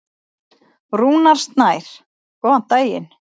Rúnar Snær: Góðan daginn.